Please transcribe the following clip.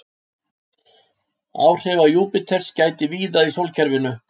áhrifa júpíters gætir víða í sólkerfinu